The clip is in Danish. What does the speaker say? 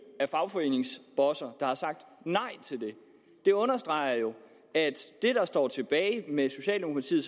af fagforeningsbosser der har sagt nej til det det understreger jo at det der står tilbage med socialdemokratiet